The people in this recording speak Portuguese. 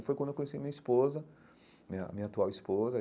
E foi quando eu conheci a minha esposa, a minha a minha atual esposa.